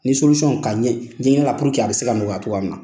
Ni ka ɲɛ ɲɛɲin'a la puruke a bɛ se ka nɔgɔya cogoya min na.